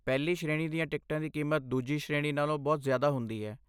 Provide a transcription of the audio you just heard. ਪਹਿਲੀ ਸ਼੍ਰੇਣੀ ਦੀਆਂ ਟਿਕਟਾਂ ਦੀ ਕੀਮਤ ਦੂਜੀ ਸ਼੍ਰੇਣੀ ਨਾਲੋਂ ਬਹੁਤ ਜ਼ਿਆਦਾ ਹੁੰਦੀ ਹੈ।